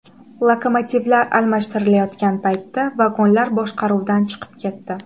Lokomotivlar almashtirilayotgan paytda vagonlar boshqaruvdan chiqib ketdi.